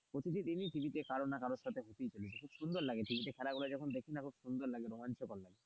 প্রতিটি টিভিতে কারোর না কারো সাথে হতেই থাকে খুব সুন্দর লাগে টিভিতে খেলা গুলো দেখি না যখন খুব সুন্দর লাগে রোমাঞ্চকর লাগে,